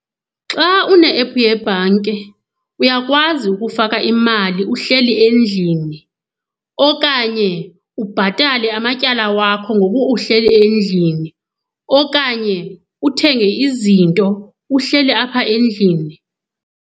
Xa une-ephu yebhanki uyakwazi ukufaka imali uhleli endlini okanye ubhatale amatyala wakho ngoku uhleli endlini, okanye uthenge izinto uhleli apha endlini.